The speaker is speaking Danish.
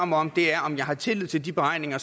mig om er om jeg har tillid til de beregninger